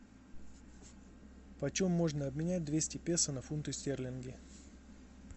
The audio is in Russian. почем можно обменять двести песо на фунты стерлингов